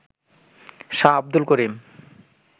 Shah Abdul Karim